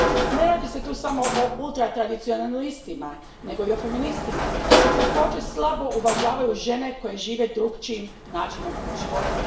Ne radi se tu samo o ultratradicionalistima, nego i o feministima koji također slabo uvažavaju žene koje žive drukčijim načinom života.